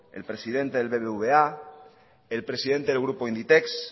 el presidente del bbva el presidente del grupo inditex